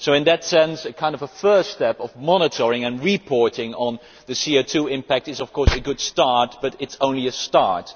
In that sense, a first step of monitoring and reporting on the CO2 impact is of course a good start, but it is only a start.